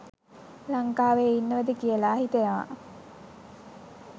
ලංකාවෙ ඉන්නවද කියලා හිතෙනවා.